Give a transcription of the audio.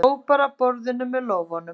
Sópar af borðinu með lófanum.